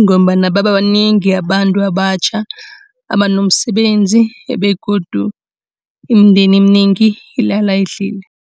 Ngombana babanengi abantu abatjha abanomsebenzi begodu imindeni eminengi ilala idlile.